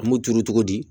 An m'u turu cogo di